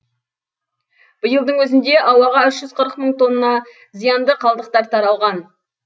биылдың өзінде ауаға үш жүз қырық мың тонна зиянды қалдықтар таралған